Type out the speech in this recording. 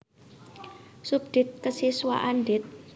Subdit Kesiswaan Dit